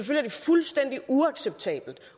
er det fuldstændig uacceptabelt